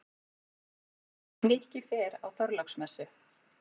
Nikki fer á Þorláksmessu.